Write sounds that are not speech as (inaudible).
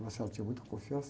(unintelligible) tinha muita confiança.